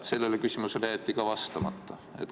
Sellele küsimusele jäeti ka vastamata.